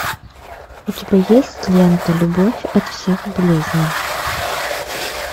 у тебя есть лента любовь от всех болезней